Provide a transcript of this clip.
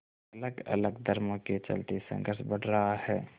अलगअलग धर्मों के चलते संघर्ष बढ़ रहा है